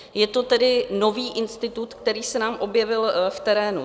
Je to tedy nový institut, který se nám objevil v terénu.